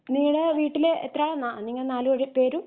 നിങ്ങടെ വീട്ടില് എത്ര അളാ നിങ്ങള് നാലു പേഴും പേരും